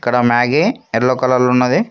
ఇక్కడ Maggi yellow కలర్లో ఉన్నది.